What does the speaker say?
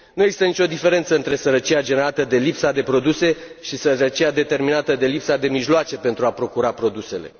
Nu există nicio diferență între sărăcia generată de lipsa de produse și sărăcia determinată de lipsa de mijloace pentru a procura produsele.